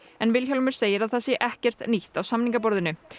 en Vilhjálmur segir að það sé ekkert nýtt á samningaborðinu